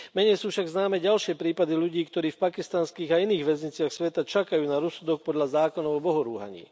Menej sú však známe ďalšie prípady ľudí, ktorí v pakistanských a iných väzniciach sveta čakajú na rozsudok podľa zákonov o bohorúhaní.